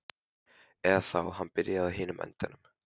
Eða þá hann byrjaði á hinum endanum.